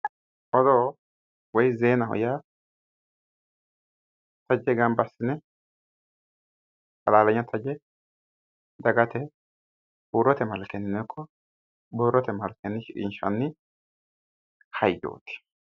odoo woy zeena gamba assi'ne ka'ne halaalanya taje dagate huurote malkennino ikko borrote malkenni shiqinshanni hayyooti